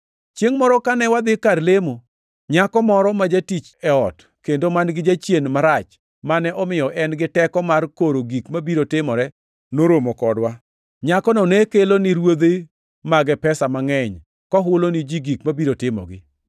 Chiengʼ moro kane wadhi kar lemo, nyako moro ma jatich e ot, kendo man-gi jachien marach mane omiyo en gi teko mar koro gik mabiro timore, noromo kodwa. Nyakono ne kelo ni ruodhi mage pesa mangʼeny, kohulo ni ji gik mabiro timogi.